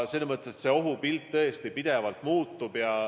Kogu ohupilt tõesti pidevalt muutub.